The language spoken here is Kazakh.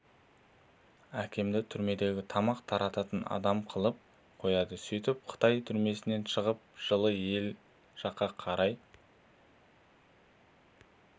әкемді түрмеге тамақ тарататын адам қылып қояды сөйтіп қытай түрмесінен шығып жылы ел жаққа қарай